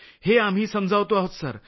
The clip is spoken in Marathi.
हे आम्ही समजावतो आहोत सर